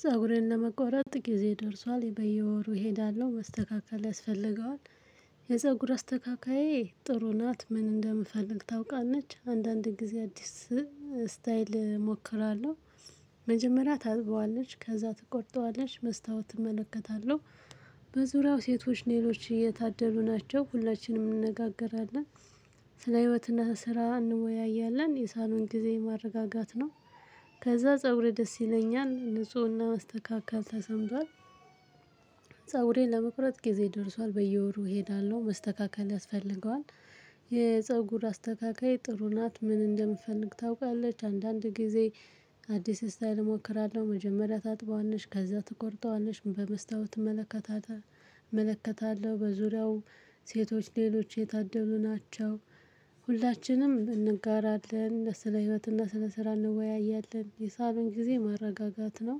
ፀጉሬን ለመቆረጥ ጊዜ ደርሷል። በየወሩ እሄዳለሁ። መስተካከል ያስፈልገዋል። የፀጉር አስተካካዬ ጥሩ ናት። ምን እንደምፈልግ ታውቃለች። አንዳንድ ጊዜ አዲስ ስታይል እሞክራለሁ። መጀመሪያ ታጥበዋለች፤ ከዛ ትቆጥጠዋለች። መስታወት እመለከታለሁ። በዙሪያው ሴቶች ሌሎች እየታደሉ ናቸው። ሁላችንም እንነጋገራለን። ስለ ህይወትና ስራ እንወያያለን። የሳሎን ጊዜ ማረጋጋት ነው። ከዛ ፀጉሬ ደስ ይለኛል። ንፁህና መስተካከል ተሰምቷል። ፀጉሬን ለመቁረጥ ጊዜ ደርሷል። በየወሩ እሄዳለሁ። መስተካከል ያስፈልገዋል። የፀጉር አስተካካዬ ጥሩ ናት። ምን እንደምፈልግ ታውቃለች። አንዳንድ ጊዜ አዲስ ስታይል እሞክራለሁ። መጀመሪያ ታጥበዋለች፤ ከዛ ትቆርጠዋለች። በመስታወት እመለከታታ እመለከታለሁ። በዙሪያው ሴቶች ሌሎች የታደሉ ናቸው። ሁላችንም እንጋራለን። ስለ ህይወትና ስለ ስራ እንወያያለን። የሳሎን ጊዜ ማረጋጋት ነው።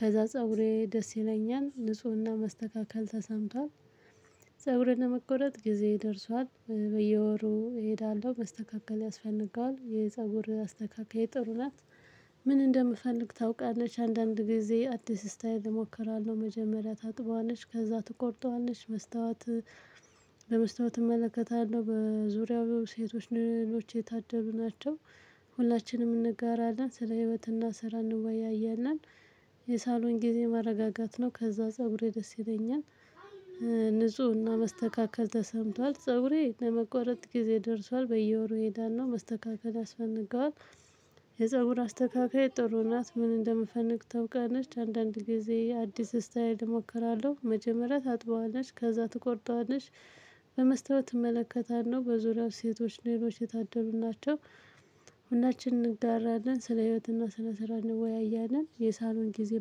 ከዛ ፀጉሬ ደስ ይለኛል። ንፁህና መስተካከል ተሰምቷል። ፀጉሬን ለመቆረጥ ጊዜ ደርሷል። በየወሩ እሄዳለሁ። መስተካከል ያስፈንጋል። የፀጉር አስተካካዬ ጥሩ ናት። ምን እንደምፈልግ ታውቃለች። አንዳንድ ጊዜ አዲስ ስታይል እሞክራለሁ። መጀመሪያ ታጥበዋለች፤ ከዛ ትቆርጠዋለች። መስታወት በመስታወት እመለከታለሁ። በዙሪያው ሴቶች ልሎች የታደሉ ናቸው። ሁላችንም እንጋራለን። ስለ ህይወትና ስራ እንወያያናለን። የሳሎን ጊዜ ማረጋጋት ነው። ከዛ ፀጉሬ ደስ ይለኛል። ንፁህና መስተካከል ተሰምቷል። ፀጉሬ ለመቆረጥ ጊዜ ደርሷል። በየወሩ እሄዳለሁ። መስተካከል ያስፈገዋል። የፀጉር አስተካክዬ ጥሩ ናት። ምን እንደምፈንግ ታውቃለች። አንዳንድ ጊዜ አዲስ ስታይል እሞክራለሁ። መጀመሪያ ታጥበዋለች፤ ከዛ ትቆርጠዋለች። በመስታወት እመለከታለሁ። በዙሪያው ሴቶች ሌሎች የታደሉ ናቸው። ሁላችንም እንጋራናለን። ስለ ህይወትና ስለ ስራ እንወያያለን። የሳሎን ጊዜ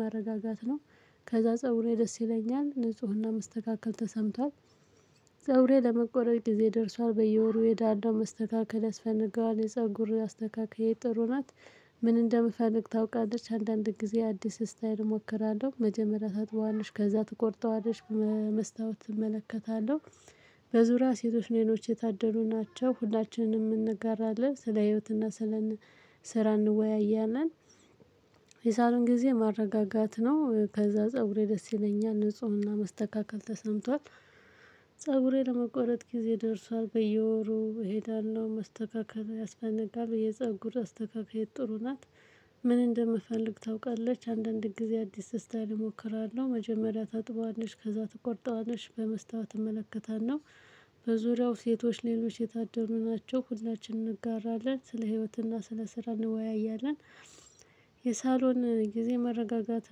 ማረጋጋት ነው። ከዛ ፀጉሬ ደስ ይለኛል። ንፁህና መስተካከል ተሰምቷል። ፀጉሬ ለመቆረጥ ጊዜ ደርሷል። በየወሩ የእሄዳለሁ። መስተካከል ያስፈልገዋል። የፀጉር አስተካካይ ጥሩ ናት። ምን እንደምፈልግ ታውቃለች። አንዳንድ ጊዜ አዲስ ስታይል እሞክራለሁ። መጀመሪያ ታጥበዋለች፤ ከዛ ትቆርጠዋለች። በመስታወት እመለከታለሁ። በዙሪያ ሴቶች ሌሎች የታደሉ ናቸው። ሁላችንም እንጋራለን። ስለ ህይወትና ስለ ስራ እንወያያለን። የሳሎን ጊዜ ማረጋጋት ነው። ከዛ ፀጉሬ ደስ ይለኛል። ንፁህና መስተካከል ተሰምቷል። ፀጉሬ ለመቆረጥ ጊዜ ደርሷል። በየወሩ እሄዳለሁ። መስተካከል ያስፈልጋል። የፀጉር አስተካከዬ ጥሩ ናት። ምን እንደምፈልግ ታውቃለች። አንዳንድ ጊዜ አዲስ ስታይል እሞክራለሁ። መጀመሪያ ታጥበዋለች፤ ከዛ ትቆርጣለች። በመስታወት እመለከታለሁ። በዙሪያው ሴቶች ሌሎች የታደሉ ናቸው። ሁላችንም እንጋራለን። ስለ ህይወትና ስለ ስራ እንወያያለን። የሳሎን ጊዜ መረጋጋት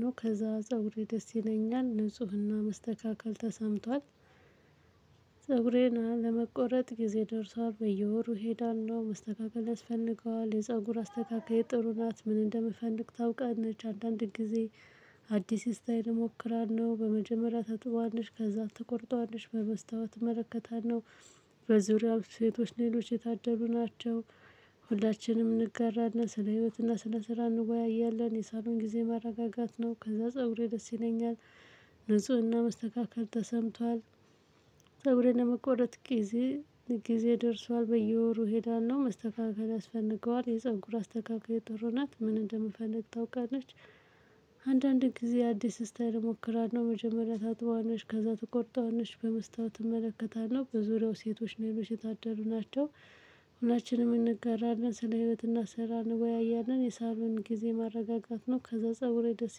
ነው፤ ከዛ ፀጉሬ ደስ ይለኛል። ንፁህና መስተካከል ተሰምቷል። ፀጉሬን ለመቆረጥ ጊዜ ደርሷል። በየወሩ እሄዳለሁ። መስተካከል ያስፈልገዋል። የፀጉር አስተካካዬ ጥሩ ናት። ምን እንደምፈልግ ታውቃለች። አንዳንድ ጊዜ አዲስ ስታይል እሞክራለሁ። በመጀመሪያ ታጥበዋለች። ከዛ ትቆርጠዋለች። በመስታወት እመለከታለሁ። በዙሪያው ሴቶች ሌሎች የታደሉ ናቸው። ሁላችንም እንጋራለን። ስለ ህይወትና ስለ ስራ እንወያያለን። የሳሎን ጊዜ ማረጋጋት ነው፤ ከዛ ፀጉሬ ደስ ይለኛል። ንፁህና መስተካከል ተሰምቷል። ፀጉሬን ለመቆረጥ ጊዜ ጊዜው ደርሷል። በየወሩ እሄዳለሁ። መስተካከል ያስፈልገዋል። የፀጉር አስተካካዬ ጥሩ ናት። ምን እንደምፈልግ ታውቃለች። አንዳንድ ጊዜ አዲስ ስታይል እሞክራለሁ። መጀመሪያ ታጥበዋለች፤ ከዛ ትቆርጠዋልች። በመስታወት እመለከታለሁ። በዙሪያው ሴቶች ሌሎች የታደሉ ናቸው። ሁላችንም እንጋራለን። ስለ ህይወት እና ስራ እንወያያለን። የሳሎን ጊዜ ማረጋጋት ነው። ከዛ ፀጉሬ ደስ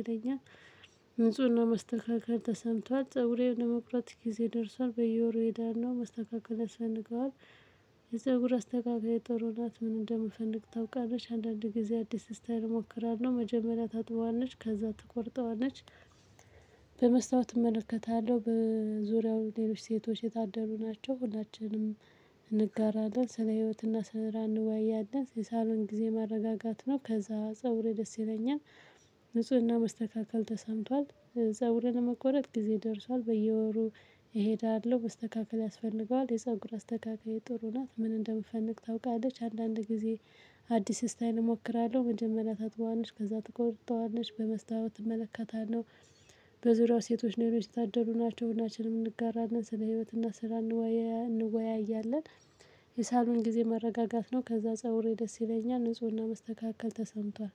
ይለኛል። ንፁህና መስተካከል ተሰምቷል። ፀጉሬን ለመቁረጥ ጊዜ ደርሷል። በየወሩ እሄዳለሁ። መስተካከል ያስፈልገዋል። የፀጉር አስተካካዬ ጥሩ ናት። ምን እንደምፈልግ ታውቃለች። አንዳንድ ጊዜ አዲስ ስታይል እሞክራለሁ። መጀመሪያ ታጥበዋለች፤ ከዛ ትቆርጠዋለች። በመስታወት እመለከታለሁ። በዙሪያው ሌሎች ሴቶች የታደሉ ናቸው። ሁላችንም እንጋራለን። ስለ ህይወትና ስራ እንወያያለን። የሳሎን ጊዜ ማረጋጋት ነው። ከዛ ፀጉሬ ደስ ይለኛል። ንፁህና መስተካከል ተሰምቷል። ዘጉሬን ለመቆረጥ ጊዜ ደርሷል። በየወሩ እሄዳለሁ። መስተካከል ያስፈልገዋል። የፀጉር አስተካካዬ ጥሩ ናት። ምን እንደምፈልግ ታውቃለች። አንዳንድ ጊዜ አዲስ ስታይል እሞክራለሁ። መጀመሪያ ታጥበዋለች፤ ከዛ ትቆጥጠዋለች። በመስታወት እመለከታለሁ። በዙሪያው ሴቶች ሌሎች የታደሉ ናቸው። ሁላችንም እንጋራለን። ስለ ህይወት እና ስራ እንወያያለን። የሳሎን ጊዜ መረጋጋት ነው። ከዛ ፀጉሬ ደስ ይለኛል። ንፁህና መስተካከል ተሰምቷል።